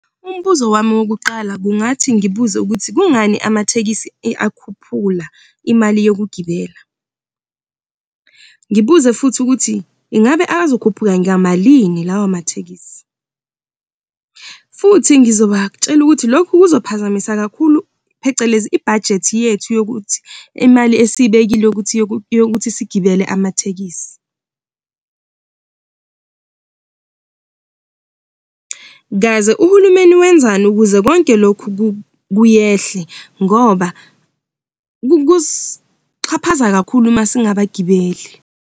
Umbuzo wami wokuqala kungathi ngibuze ukuthi kungani amathekisi akhuphula imali yokugibela. Ngibuze futhi ukuthi ingabe azokhuphuka ngamalini lawa mathekisi, futhi ngizobatshela ukuthi lokhu kuzophazamisa kakhulu phecelezi ibhajethi yethu yokuthi imali esiyibhekile ukuthi yokuthi yokuthi sigibele amatekisi. Kaze uhulumeni wenzani ukuze konke lokhu kuyehle ngoba kusixhaphaza kakhulu masingabagibeli.